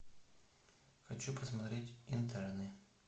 хочу посмотреть интерны